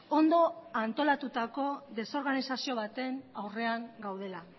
ondo antolatutako desorganizazio baten aurrean gaudela